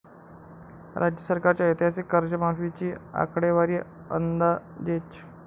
राज्य सरकारच्या ऐतिहासिक कर्जमाफीची आकडेवारी अंदाजेच!